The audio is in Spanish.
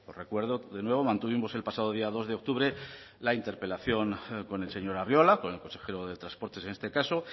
recuerdo de nuevo mantuvimos el pasado día dos de octubre la interpelación con el señor arriola con el consejero de transportes en este caso